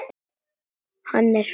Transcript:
Hann er feitur.